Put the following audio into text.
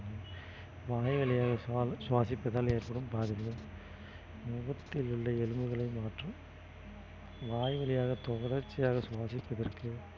வாய்வழியாக சுவா~ சுவாசிப்பதால் ஏற்படும் பாதிப்பு முகத்தில் உள்ள எலும்புகளை மாற்றும் வாய் வழியாக தொடர்ச்சியாக சுவாசிப்பதற்கு